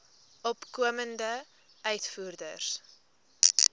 opkomende uitvoerders